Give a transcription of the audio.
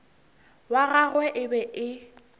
wa gagwe e be e